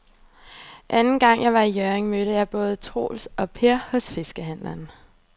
Anden gang jeg var i Hjørring, mødte jeg både Troels og Per hos fiskehandlerne.